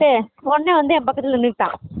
இவன் இருந்துட்டு ஒடனே என் பக்கத்துல வந்து நின்னுட்டான்